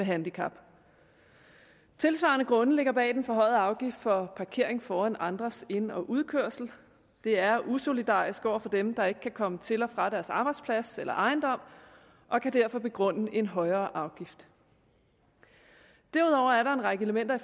handicap tilsvarende grunde ligger bag den forhøjede afgift for parkering foran andres ind og udkørsel det er usolidarisk over for dem der ikke kan komme til og fra deres arbejdsplads eller ejendom og kan derfor begrunde en højere afgift derudover er der en række elementer i